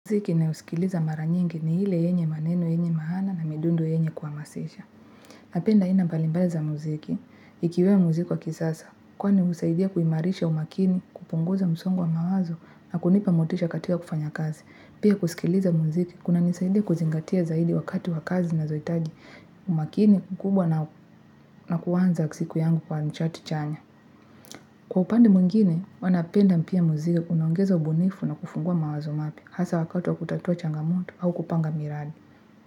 Mziki ninayosikiliza mara nyingi ni ile yenye maneno yenye maana na midundo yenye kuhamasisha. Napenda aina mbalimbali za muziki ikiwemo muziki wa kisasa, kwani husaidia kuimarisha umakini, kupunguza msongo wa mawazo na kunipa motisha katika kufanya kazi. Pia kusikiliza muziki, kunanisaidia kuzingatia zaidi wakati wa kazi nazohitaji umakini mkubwa na kuanza siku yangu kwa mchati chanya. Kwa upande mwingine, huwa napenda pia muziki unaongeza ubunifu na kufungua mawazo mapya hasa wakati wa kutatua changamoto au kupanga miradi.